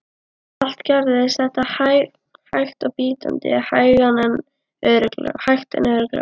Allt gerðist þetta hægt og bítandi, hægt en örugglega.